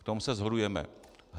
V tom se shodujeme.